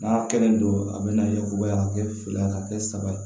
N'a kelen do a bɛna yakubaya ka kɛ fila ka kɛ saba ye